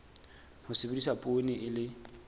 ho sebedisa poone e le